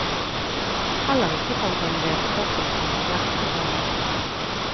Heller ikke fant han redskapene som lå gjemt i halmen.